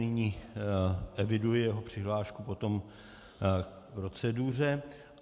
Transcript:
Nyní eviduji jeho přihlášku potom k proceduře.